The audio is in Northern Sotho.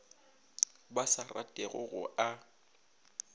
ba sa ratego go a